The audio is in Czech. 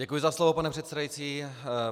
Děkuji za slovo, pane předsedající.